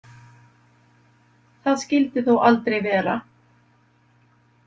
Það skyldi þó aldrei vera.